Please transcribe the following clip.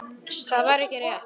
Það var ekki rétt.